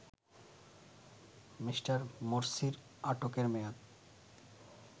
Me. মোরসির আটকের মেয়াদ